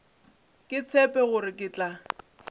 ke tshepe gore ke tla